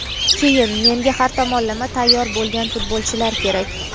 Keyin menga har tomonlama tayyor bo‘lgan futbolchilar kerak.